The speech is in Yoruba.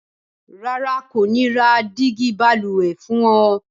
Rárá, n kò ni ra dígí balùwè fún o